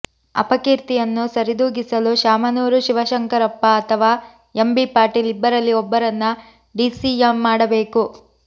ಅಪಕೀರ್ತಿಯನ್ನು ಸರಿದೂಗಿಸಲು ಶಾಮನೂರು ಶಿವಶಂಕರಪ್ಪ ಅಥವಾ ಎಂಬಿ ಪಾಟೀಲ್ ಇಬ್ಬರಲ್ಲಿ ಒಬ್ಬರನ್ನ ಡಿಸಿಎಂ ಮಾಡಬೇಕು